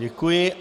Děkuji.